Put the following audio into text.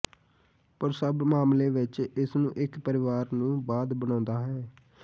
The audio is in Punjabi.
ਪਰ ਸਭ ਮਾਮਲੇ ਵਿੱਚ ਇਸ ਨੂੰ ਇੱਕ ਪਰਿਵਾਰ ਨੂੰ ਬਾਅਦ ਬਣਾਉਦਾ ਹੈ